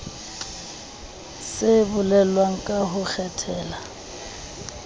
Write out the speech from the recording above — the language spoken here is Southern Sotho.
se bolelwang ka ho kgethela